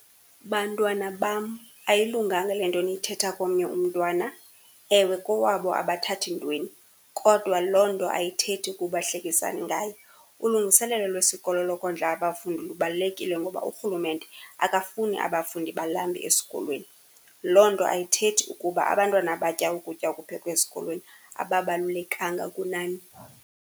Bantwana bam, ayilunganga le nto niyithetha komnye umntwana, ewe kowabo abathathi ntweni, kodwa loo nto ayithethi ukuba hlekisani ngaye. Ulungiselelo lwesikolo lokondla abafundi lubalulekile ngoba urhulumente akafuni abafundi balambe esikolweni. Loo nto ayithethi ukuba abantwana abatya ukutya okuphekwe esikolweni ababalulekanga kunani.